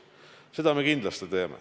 Seda me kindlasti teeme.